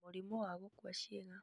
Mũrimũ wa gũkua ciĩga;